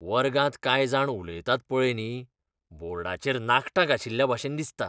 वर्गांत कांय जाण उलयतात पळय न्ही, बोर्डाचेर नाखटां घांशिल्ल्या भाशेन दिसता.